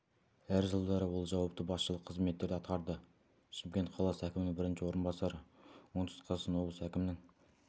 әр жылдары ол жауапты басшылық қызметтерді атқарды шымкент қаласы әкімінің бірінші орынбасары оңтүстік қазақстан облысы әкімінің